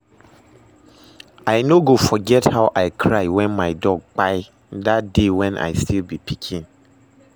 I no go forget how I cry when my dog kpai dat day when I still be pikin